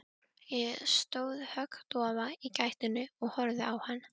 Ég stóð höggdofa í gættinni og horfði á hann.